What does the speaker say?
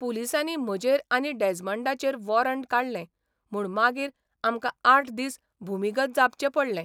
पुलिसांनी म्हजेर आनी डॅज्मंडाचेर वॉरंट काडलें म्हूण मागीर आमकां आठ दीस भुमिगत जावचें पडलें.